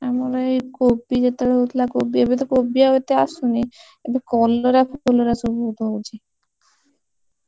ଆମର ଏଇ କୋବି ଯେତେବେଳେ ହଉଥିଲା କୋବି ଏବେତ କୋବି ଆଉ ଏତେ ଆସୁନି ଏବେ କଲରା ଫଲରା, ସବୁ ଲଗା ହଉଛି।